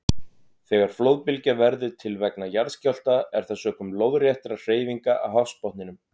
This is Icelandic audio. Þegar flóðbylgja verður til vegna jarðskjálfta er það sökum lóðréttra hreyfinga á hafsbotninum.